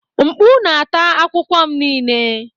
Mkpu na-ata akwụkwọ m niile.